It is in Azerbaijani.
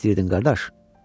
Nə istəyirdin, qardaş?